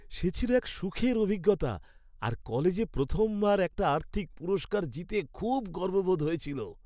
সে ছিল এক সুখের অভিজ্ঞতা, আর কলেজে প্রথমবার একটা আর্থিক পুরস্কার জিতে খুব গর্ববোধ হয়েছিল।